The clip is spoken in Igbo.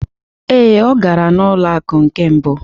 Ee, ọ gara n'ụlọ akụ nke mbụ.